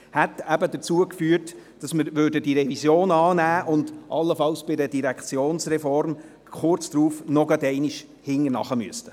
Dies hätte dazu geführt, dass wir die Revision annehmen und bei der Direktionsreform allenfalls kurz darauf nochmals hinterher müssten.